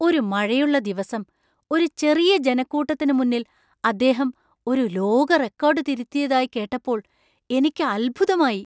ഒരു മഴയുള്ള ദിവസം ഒരു ചെറിയ ജനക്കൂട്ടത്തിന് മുന്നിൽ അദ്ദേഹം ഒരു ലോക റെക്കോർഡ് തിരുത്തിയതായി കേട്ടപ്പോൾ എനിക്ക് അത്ഭുതമായി.